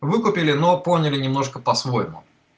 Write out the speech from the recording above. выкупили но поняли немножко по-своему